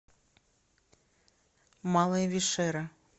малая вишера